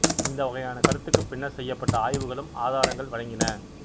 இந்த வகையான கருத்துக்கு பின்னர் செய்யப்பட்ட ஆய்வுகளும் ஆதாரங்கள் வழங்கின